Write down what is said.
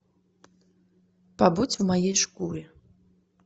побудь в моей шкуре